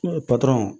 Patɔrɔn